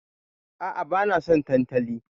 A'a, bana son tantali.